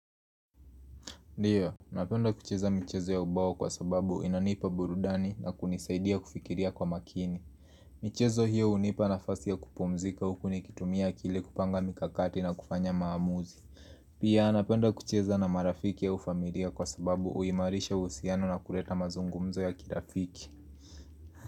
Ndiyo, napenda kucheza michezo ya ubao kwa sababu inanipa burudani na kunisaidia kufikiria kwa makini. Michezo hiyo hunipa nafasi ya kupumzika huku nikitumia akile kupanga mikakati na kufanya maamuzi. Pia napenda kucheza na marafiki au ufamilia kwa sababu huimarisha usiano na kureta mazungumzo ya kirafiki.